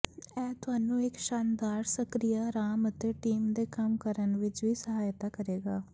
ਇਹ ਤੁਹਾਨੂੰ ਇੱਕ ਸ਼ਾਨਦਾਰ ਸਕ੍ਰਿਆ ਆਰਾਮ ਅਤੇ ਟੀਮ ਦੇ ਕੰਮ ਕਰਨ ਵਿੱਚ ਵੀ ਸਹਾਇਤਾ ਕਰੇਗਾ